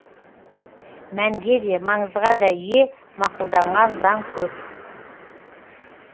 мәнге де маңызға да ие мақұлданған заң көп